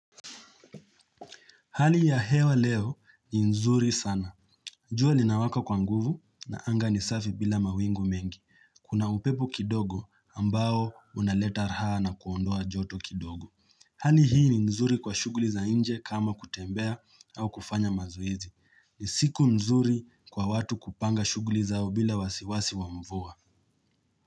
Hali ya hewa leo ni nzuri sana. Jua linawaka kwa nguvu na anga ni safi bila mawingu mengi. Kuna upepo kidogo ambao unaleta raha na kuondoa joto kidogo. Hali hii ni nzuri kwa shuguli za inje kama kutembea au kufanya mazuizi. Ni siku nzuri kwa watu kupanga shuguli zao bila wasiwasi wa mvua.